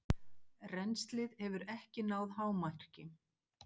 Rennslið hefur ekki náð hámarki.